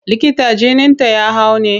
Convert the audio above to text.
Likita jininta ya hau ne?